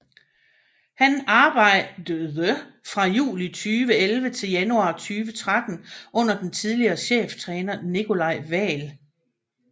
Han arbejde fra juli 2011 til januar 2013 under den tidligere cheftræner Nicolai Wael